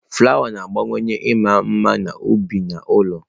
Flawa na-agbakwunye ịma mma n'ubi na ụlọ.